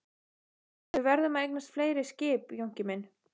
En við verðum að eignast fleiri skip Jónki minn.